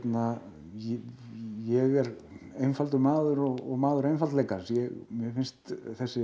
ég er einfaldur maður og maður einfaldleikans mér finnst þessi